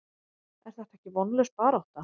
Er þetta ekki vonlaus barátta?